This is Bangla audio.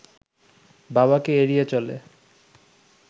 বাবাকে এড়িয়ে চলে